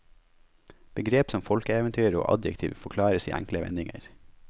Begrep som folkeeventyr og adjektiv forklares i enkle vendinger.